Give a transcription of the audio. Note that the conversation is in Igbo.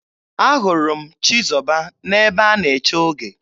Ahụrụ m Chizọba n'ebe a na-eche oge.